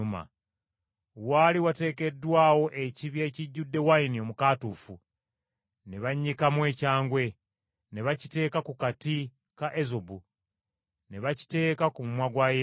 Waali wateekeddwawo ekibya ekijjudde wayini omukaatuufu, ne bannyikamu ekyangwe, ne bakiteeka ku kati ka ezobu ne bakiteeka ku mumwa gwa Yesu.